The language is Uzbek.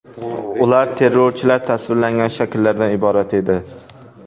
Ular terrorchilar tasvirlangan shakllardan iborat edi.